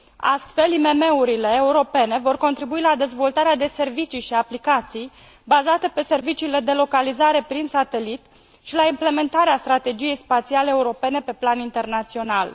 Astfel, IMM urile europene vor contribui la dezvoltarea de servicii și aplicații bazate pe serviciile de localizare prin satelit și la implementarea strategiei spațiale europene pe plan internațional.